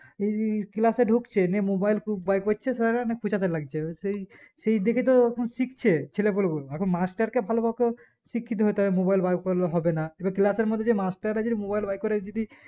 এই class এ ঢুকছে নিয়ে mobile খুবেরকরছে sir রা নিয়ে খোঁচাতে লাগছে সেই সেই দেখে তো এখন শিখছে ছেলেপিলে গুলো এখন মাস্টার কে ভালো ভাবে শিক্ষিত হতে হবে mobile বের করলে হবে না এবার class এর মধ্যে যদি মাস্টাররা যদি mobile যদি